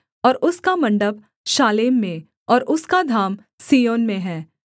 और उसका मण्डप शालेम में और उसका धाम सिय्योन में है